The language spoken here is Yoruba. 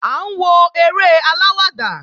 À ń wo eré aláwàdà